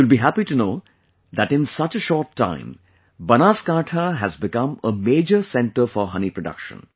You will be happy to know that in such a short time, Banaskantha has become a major centre for honey production